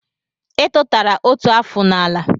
I tutara otu afụ n'ala